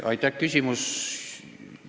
Aitäh!